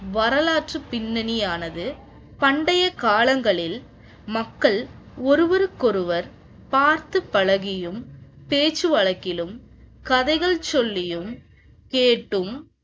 வரலாற்று பின்னணியானது பண்டைய காலங்களில் மக்கள் ஒருவருக்கொருவர் பார்த்து பழகியும் பேச்சு வழக்கிலும் கதைகள் சொல்லியும் கேட்கும்,